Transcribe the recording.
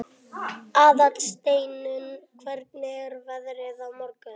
Aðalsteinunn, hvernig er veðrið á morgun?